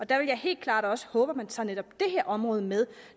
der vil jeg helt klart også håbe at man tager netop det her område med